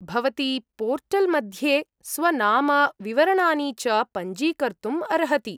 भवती पोर्टल् मध्ये स्वनाम, विवरणानि च पञ्जीकर्तुम् अर्हति।